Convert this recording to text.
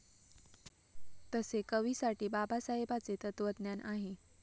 तसे कवीसाठी बाबासाहेबाचे तत्वज्ञान आहे.